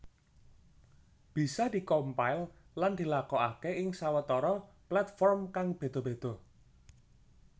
Bisa di compile lan dilakokaké ing sawetara platform kang béda béda